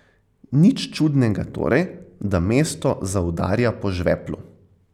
Nič čudnega torej, da mesto zaudarja po žveplu.